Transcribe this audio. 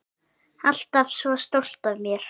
Alltaf svo stolt af mér.